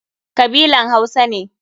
Kabilan Hausa ne.